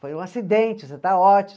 Foi um acidente, você está